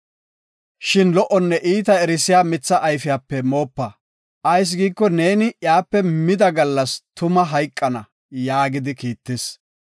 Shin lo77onne iita erisiya mitha ayfiyape moopa. Ayis giiko, neeni iyape mida gallas tuma hayqana” yaagidi kiittis.